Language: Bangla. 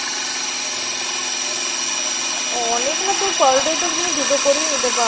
অনেক না তুমি per day তো তুমি দুটো করে নিতে পারো